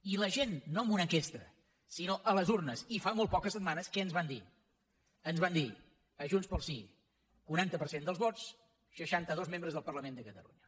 i la gent no en una enquesta sinó a les urnes i fa molt poques setmanes què ens van dir ens van dir a junts pel sí quaranta per cent dels vots seixantados membres del parlament de catalunya